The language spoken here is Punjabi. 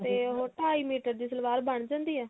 ਤੇ ਉਹ ਢਾਈ ਮੀਟਰ ਸਲਵਾਰ ਬਣ ਜਾਂਦੀ ਆ